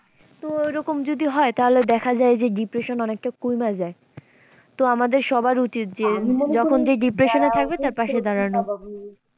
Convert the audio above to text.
তো ওইরকম যদি হয় তাহলে দেখা যায় যে depression অনেকটা কইমা যায় তো আমাদের সবার উচিৎ যে যখন যে depression এ থাকবে তার পাশে দাঁড়ানোর।